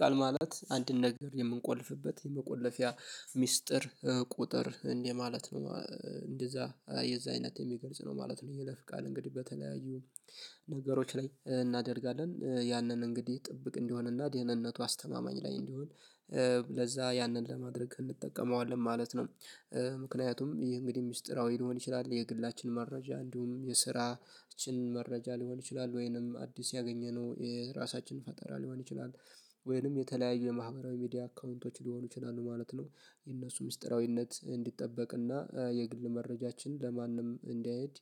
ቃል ማለት አንድን ነገር የምንቆልፍበት መቆለፊያ ሚስጥር ቁጥር እንደ ማለት ነው። እንደዛ የዛ አይነት የሚገልጽ ነው ማለት ነው የይለፍ ቃል እንግዲህ በተለያዩ ነገሮች ላይ እናደርጋለን ያንን እንግዲህ ጥብቅ እንዲሆን እና ደህንነቱ አስተማማኝ ላይ እንዲሆን ለዛ ያንን ለማድረግ እንጠቀመዋለን ማለት ነው። ምክንያቱም ይህ እንግዲህ ሚስጥራዊ ሊሆን ይችላል የግላችን መረጃ እንዲሁም የስራችን መረጃ ሊሆን ይችላል ወይንም አዲስ ያገኘነው የራሳችን ፈጠራ ሊሆን ይችላል ወይንም የተለያዩ የማህበራዊ ሚዲያ አካውንቶች ሊሆኑ ይችላሉ ማለት ነው። የእነሱ ሚስጥራዊነት እንዲጠበቅና የግል መረጃችንን ለማንም እንዳአያዩት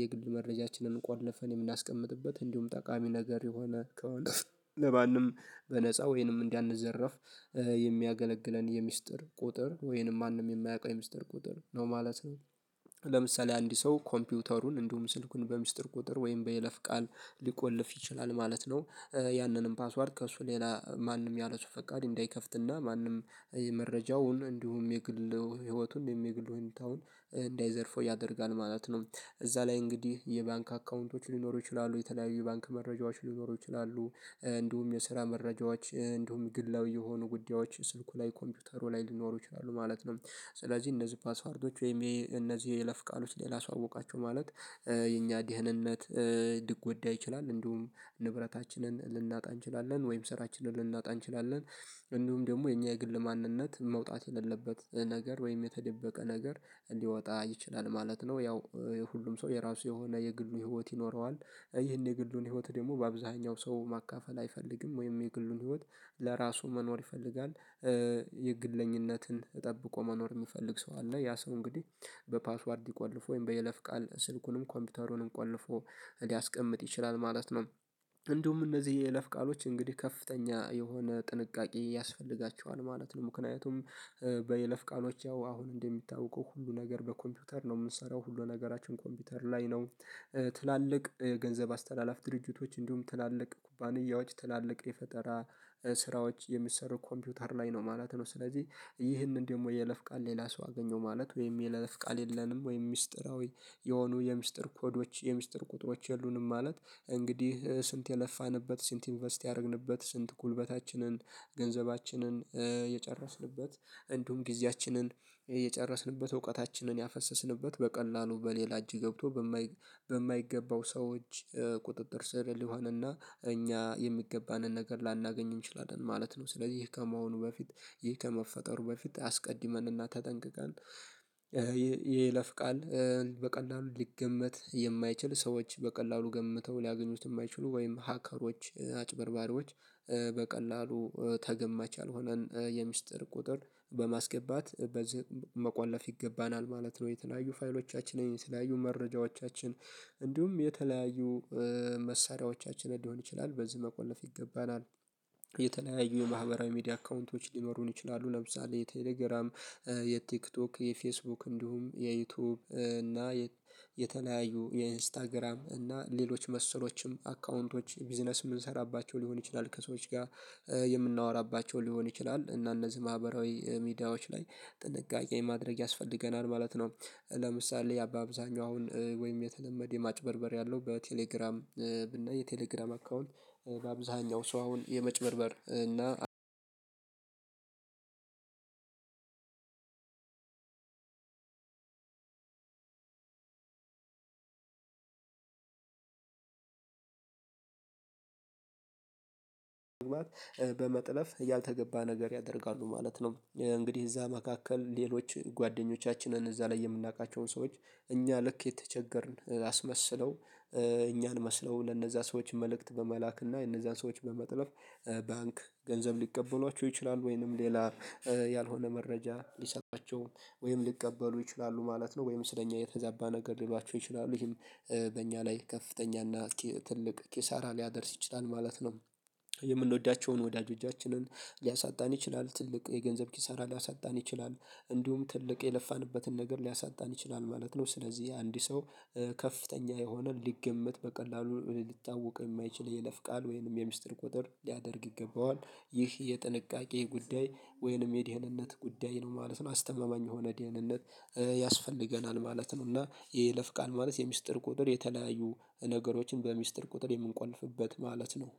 የግል መረጃችንን ቆልፈን የምናስቀምጥበት እንዲሁም ጠቃሚ ነገር የሆነ ከሆነ በማንም በነፃ ወይንም እንዳንዘረፍ የሚያገለግለን የምስጢር ቁጥር ወይንም ማንም የማያውቀው የሚስጥር ቁጥር ነው ማለት ነው። ለምሳሌ አንድ ሰው ኮምፒውተሩን እንዲሁም ስልኩን በሚስጥር ቁጥር ወይም በይለፍ ቃል ሊቆልፍ ይችላል ማለት ነው። ያንንም ፓስዋርድ ከእሱ ሌላ ማንም ያለሱ ፈቃድ እንዳይከፍትና ማንም መረጃውን እንዲሁም የግል ህይወቱን የግሉ ሁኔታውን እንዳይዘርፈው ያደርጋል ማለት ነው። እዛ ላይ እንግዲህ የባንክ አካውንቶች ሊኖሩ ይችላሉ የተለያዩ የባንክ መረጃዎች ሊኖሩ ይችላሉ እንዲሁም የስራ መረጃዎች እንዲሁም ግላዊ የሆኑ ጉዳዮች ስልኩ ላይ ኮምፒውተሩ ላይ ሊኖሩ ይችላሉ ማለት ነው። ስለዚህ እነዚህ ፓስዋርዶች ወይም እነዚህ የይለፍ ቃሎች ሌላ ሰው አወቃቸው ማለት የኛ ድህንነት ልንጎዳ ይችላል እንዲሁም ንብረታችንን ልናጣ እንችላለን ወይም ስራችንን ልናጣ እንችላለን እንዲሁም ደግሞ የኛ የግል ማንነት መውጣት የሌለበት ነገር ወይም የተደበቀ ነገር ሊወጣ ይችላል ማለት ነው። ያው ሁሉም ሰው የራሱ የሆነ የግሉ ህይወት ይኖረዋል ይህን የግሉን ህይወት ደግሞ በአብዛኛው ሰው ማካፈል አይፈልግም ወይም የግሉን ህይወት ለራሱ መኖር ይፈልጋል። የግለኝነትን ጠብቆ መኖር የሚፈልግ ሰው አለ ያ ሰው እንግዲህ በፓስዋርድ ቆልፍ ወይም በየለፍ ቃል ስልኩንም ኮምፒውተሩንም ቆልፎ ሊያስቀምጥ ይችላል ማለት ነው። እንደውም እነዚህ የይለፍ ቃሎች እንግዲህ ከፍተኛ የሆነ ጥንቃቄ ያስፈልጋቸዋል ማለት ነው። ምክንያቱም በይለፍ ቃሎች ያው አሁን እንደሚታወቀው ሁሉ ነገር በኮምፒውተር ነው የምንሰራው ሁሉ ነገራችን ኮምፒውተር ላይ ነው። ትላልቅ የገንዘብ አስተላላፍ ድርጅቶች እንዲሁም ትላልቅ ኩባንያዎች ትላልቅ የፈጠራ ስራዎች የሚሰሩ ኮምፒውተር ላይ ነው ማለት ነው። ስለዚህ ይህንን ደግሞ የይለፍ ቃል ሌላ ሰው አገኘው ማለት ወይም የይለፍ ቃል የለንም ወይም ሚስጥራዊ የሆኑ የሚስጥር ኮዶች የሚስጥር ቁጥሮች የሉንም ማለት እንግዲህ ስንት የለፋንበት ስንት ኢንቨስት ያደረግንበት ስንት ጉልበታችንን ገንዘባችንን የጨረስንበት እንዲሁም ጊዜያችንን የጨረስንበት እውቀታችንን ያፈሰስንበት በቀላሉ በሌላ እጅ ገብቶ በማይገባው ሰዎች ቁጥጥር ስር ሊሆንና እኛ የሚገባንን ነገር ላናገኝ እንችላለን ማለት ነው። ስለዚህ ይህ ከመሆኑ በፊት ይህ ከመፈጠሩ በፊት አስቀድመንና ተጠንቅቀን የይለፍቃል በቀላሉ ሊገመት የማይችል ሰዎች በቀላሉ ገምተው ሊያገኙት የማይችሉ ወይም ሀከሮች አጭበርባሪዎች በቀላሉ ተገማች ያልሆነን የምስጢር ቁጥር በማስገባት በዚህ መቆለፍ ይገባናል ማለት ነው። የተለያዩ ፋይሎቻችንን የተለያዩ መረጃዎቻችን እንዲሁም የተለያዩ መሳሪያዎቻችን ሊሆን ይችላል በዚህ መቆለፍ ይገባናል። የተለያዩ ማህበራዊ ሚዲያ አካውንቶች ሊኖሩን ይችላሉ ለምሳሌ የቴሌግራም የቲክቶክ የፌስቡክ እንዲሁም የዩቲዩብ እና የተለያዩ የኢንስታግራም እና ሌሎች መሰሎችም አካውንቶች ቢዝነስ የምንሰራባቸው ሊሆን ይችላል ከሰዎች ጋር የምናወራባቸው ሊሆን ይችላል እና እነዚህ ማህበራዊ ሚዲያዎች ላይ ጥንቃቄ ማድረግ ያስፈልገናል ማለት ነው። ለምሳሌ ባአብዛኛው አሁን ወይም የተለመደ የማጭበርበር ያለው በቴሌግራም እና የቴሌግራም አካውንት በአብዛኛው ሰው አሁን የመጭበርበር እና አንድ በመጥለፍ ያልተገባ ነገር ያደርጋሉ ማለት ነው። እንግዲህ እዛ መካከል ሌሎች ጓደኞቻችንን እዛ ላይ የምናውቃቸውን ሰዎች እኛ ልክ የተቸገርን አስመስለው እኛን መስለው ለነዛ ሰዎች መልእክት በመላክና የነዛን ሰዎች በመጥለፍ ባንክ ገንዘብ ሊቀበሏቸው ይችላሉ ወይንም ሌላ ያልሆነ መረጃ ሊሰጣቸው ወይንም ሊቀበሉ ይችላሉ ማለት ነው። ወይም ስለኛ የተዛባ ነገር ሊሏቸው ይችላሉ ይሄም በእኛ ላይ ከፍተኛ እና ትልቅ ኪሳራ ሊያደርስ ይችላል ማለት ነው። የምንወዳቸውን ወዳጆቻችንን ሊያሳጣን ይችላል ትልቅ የገንዘብ ኪሳራ ሊያሳጣን ይችላል እንዲሁም ትልቅ የለፋንበትን ነገር ሊያሳጣን ይችላል ማለት ነው። ስለዚህ አንድ ሰው ከፍተኛ የሆነ ሊገመት በቀላሉ ሊታወቅ የማይችል የይለፍ ቃል ወይንም የምስጢር ቁጥር ሊያደርግ ይገባዋል ይህ የጥንቃቄ ጉዳይ ወይንም የድህነት ጉዳይ ነው ማለት ነው። አስተማማኝ የሆነ የደህንነት ያስፈልገናል ማለት ነው። እና የይለፍ ቃል ማለት የምስጢር ቁጥር የተለያዩ ነገሮችን በሚስጥር ቁጥር የምንቆልፍበት ማለት ነው።